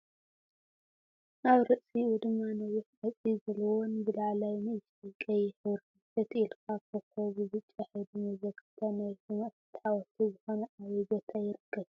ኣብ ርእስይኡ ድማ ነዊሕ ቆፅሊ ዘለዎን ብላዕላይ ንእሽተይ ቀይሕ ሕብሪን ትሕት ኢልካ ኮከብ ብብጫ ሕብሪን መዘከርታ ናይ ሰማእታት ሓወልቲ ዝኮነ ኣበይ ቦታ ይርከብ?